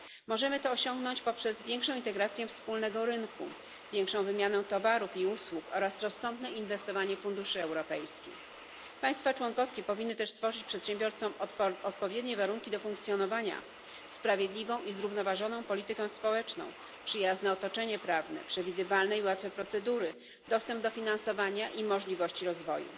Możemy to osiągnąć poprzez większą integrację wspólnego rynku, większą wymianę towarów i usług oraz rozsądne inwestowanie funduszy europejskich. Państwa członkowskie powinny też stworzyć przedsiębiorcom warunki odpowiednie do funkcjonowania, sprawiedliwą i zrównoważoną politykę społeczną, przyjazne otoczenie prawne, przewidywalne i łatwe procedury, dostęp do finansowania i możliwości rozwoju.